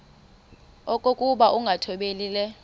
okokuba ukungathobeli le